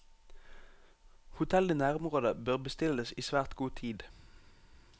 Hotell i nærområdet bør bestilles i svært god tid.